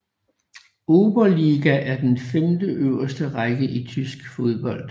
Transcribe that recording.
Oberliga er den femteøverste række i tyske fodbold